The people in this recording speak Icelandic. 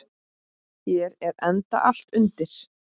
Hér er enda allt undir.